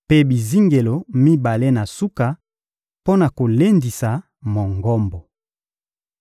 mpe bizingelo mibale na suka mpo na kolendisa Mongombo.